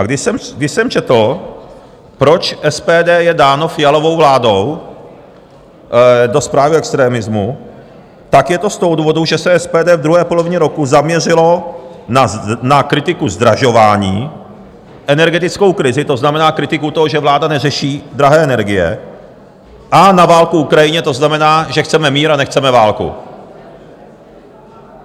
A když jsem četl, proč SPD je dáno Fialovou vládou do zprávy o extremismu, tak je to z toho důvodu, že se SPD v druhé polovině roku zaměřilo na kritiku zdražování, energetickou krizi, to znamená kritiku toho, že vláda neřeší drahé energie, a na válku v Ukrajině, to znamená, že chceme mír a nechceme válku.